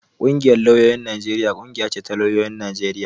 Ƙungiyar lauyoyin Najeriya ƙungiya ce na lauyoyin Najeriya